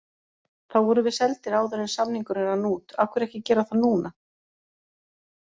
Þá vorum við seldir áður en samningurinn rann út, af hverju ekki gera það núna?